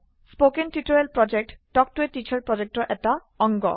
কথন শিক্ষণ প্ৰকল্প তাল্ক ত a টিচাৰ প্ৰকল্পৰ এটা অংগ